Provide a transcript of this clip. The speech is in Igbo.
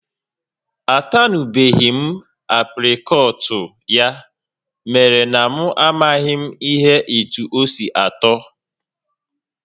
A tanubeghị m apricot ya mere na m amaghị m ihe etu osi atọ